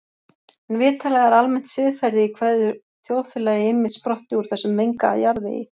En vitanlega er almennt siðferði í hverju þjóðfélagi einmitt sprottið úr þessum mengaða jarðvegi.